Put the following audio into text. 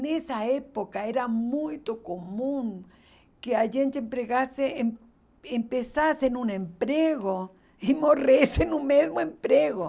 Nessa época era muito comum que a gente empregasse e e pensasse num emprego e morresse no mesmo emprego.